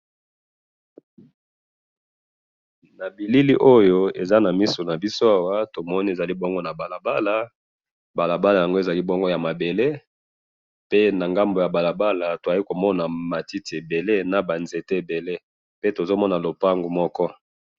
Na moni balabala ya mabele na ngambo nango matiti ebele na ndako moko.